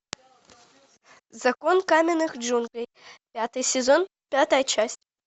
закон каменных джунглей пятый сезон пятая часть